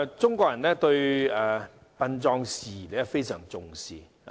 中國人對殯葬事宜非常重視。